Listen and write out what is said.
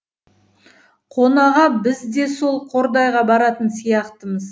қонаға біз де сол қордайға баратын сияқтымыз